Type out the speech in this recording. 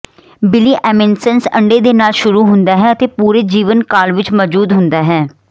ਬਿਲੀਅਮਿਨਸੈਂਸ ਅੰਡੇ ਦੇ ਨਾਲ ਸ਼ੁਰੂ ਹੁੰਦਾ ਹੈ ਅਤੇ ਪੂਰੇ ਜੀਵਨਕਾਲ ਵਿੱਚ ਮੌਜੂਦ ਹੁੰਦਾ ਹੈ